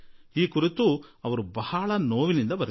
ಅವರಂತೂ ಬಹಳ ನೋವು ವ್ಯಕ್ತಪಡಿಸಿದ್ದಾರೆ